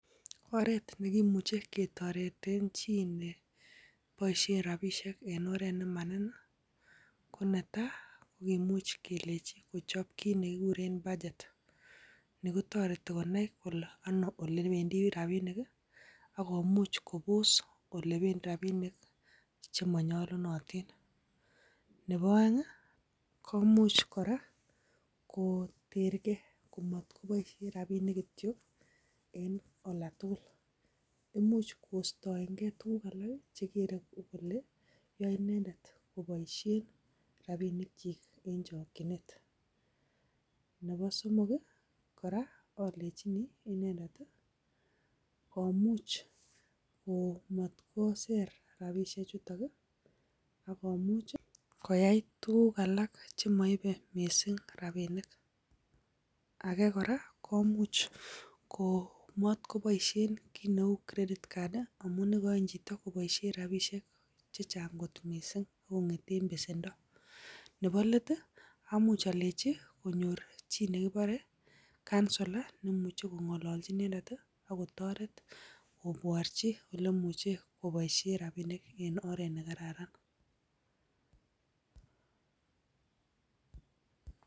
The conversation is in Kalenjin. Oret nekimuche ketoreten chi neboishien rabisiek en oret nemaniin konetai ko kimuuch kelenyii kochob kit nekiikuren bachet. Nekito retii konai kole anoo olebendii rabinik i akomuch kobos olebendii rabinik chemonyolunotiin. Nebo oeng komuch kora kotergei Kombat koboishien rabinik kityok en olda tugul. Imuch kostoengee tuguuk alak checkered kole yoe inendet koboishien rabisiekchik en chokchinet. Nebo somok kora olenyini inendet komuch koyai tuguuk alak chemoibe missing rabinik.